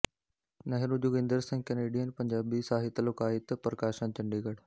Nehru Joginder Singh Canadian Punjabi ਸਾਹਿਤ ਲੋਕਾਇਤ ਪ੍ਕਸ਼ਾਨ ਚੰਡੀਗੜ੍ਹ